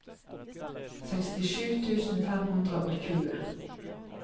sekstisju tusen fem hundre og tjue